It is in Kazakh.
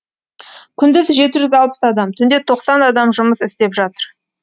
күндіз жеті жүз алпыс адам түнде тоқсан адам жұмыс істеп жатыр